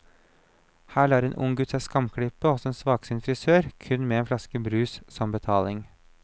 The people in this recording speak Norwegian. Her lar en ung gutt seg skamklippe hos en svaksynt frisør, kun med en flaske brus som betaling.